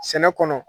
Sɛnɛ kɔnɔ